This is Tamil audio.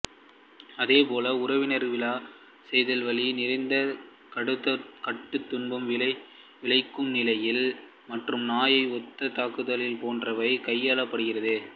அதே போல் உணர்விழக்கச் செய்தல் வலி நிறைந்த கடுந்துன்பம் விளைவிக்கும் நிலைகள் மற்றும் நாயை ஒத்த தாக்குதல்கள் போன்றவை கையாளப்படுகிறது